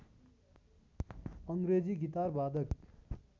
अङग्रेजी guitar बादक